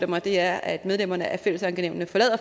mig er at medlemmerne af fællesankenævnene forlader